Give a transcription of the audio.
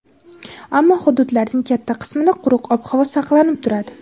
ammo hududlarning katta qismida quruq ob-havo saqlanib turadi.